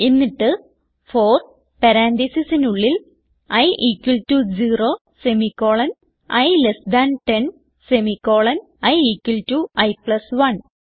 എന്നിട്ട് ഫോർ പരാൻതീസിസിനുള്ളിൽ i equal to 0 semicolon i less than 10 semicolon i equal to i plus 1